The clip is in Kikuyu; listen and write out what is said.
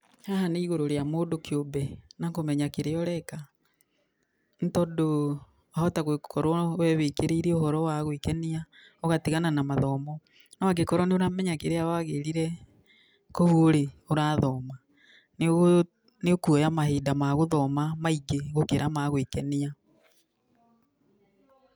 Haha nĩ igũrũ rĩa mũndũ kĩũmbe, na kũmenya kĩrĩa ũreka, nĩ tondũ wahota gũkorwo we wĩkĩrĩire ũhoro wa gwĩkenia ũgatigana na mathomo, no angĩkorwo nĩ ũramenya kĩrĩa wagĩrire kũu ũrĩ ũrathoma, nĩ ũgũ nĩ ũkuoya mahinda ma gũthoma maingĩ, gũkĩra magwĩkenia.